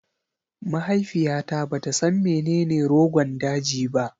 Mahaifiyata bata san menene Rogon daji ba